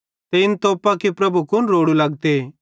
ते इन तोप्पां कि प्रभु कुन रोड़ू लगते